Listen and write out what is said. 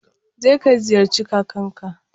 Je ka ziyarci kakanka.